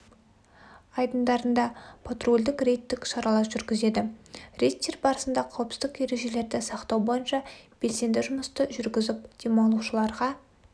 айдындарында патрульдік рейдтік шаралар жүргізеді рейдтер барысында қауіпсіздік ережелерді сақтау бойынша белсенді жұмысты жүргізіп демалушыларға